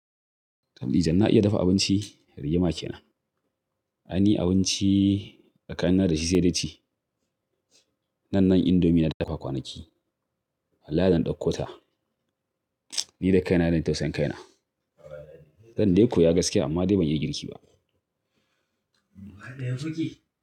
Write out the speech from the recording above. Tabdi jam na iya dafa abinci, rigima ke nan. Ai ni abinci tsakanina da shi sai dai ci. Nan-nan indomie na dafa kwanaki. Wallahi dana ɗauko ta. Ni da kaina zan yi tausayin kaina. Zan dai koya gasikiya, amma dai ban iya girki ba.